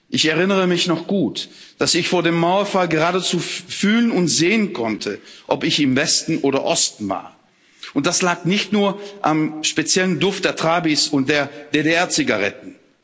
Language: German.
Ich erinnere mich noch gut, dass ich vor dem Mauerfall geradezu fühlen und sehen konnte, ob ich im Westen oder im Osten war, und das lag nicht nur am speziellen Duft der Trabbis und der DDR Zigaretten.